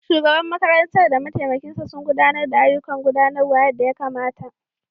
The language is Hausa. Shugaban makarantar da mataimakinsa sun gudanar da ayyukan gudanarwa yadda ya kamata.